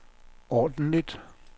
ordentligt